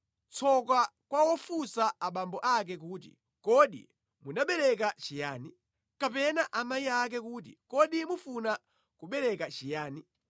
Tsoka kwa wofunsa abambo ake kuti, ‘Kodi munabereka chiyani?’ Kapena amayi ake kuti, ‘Kodi mufuna kubereka chiyani?’